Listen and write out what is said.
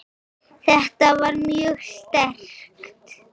Þetta var mjög sterkt.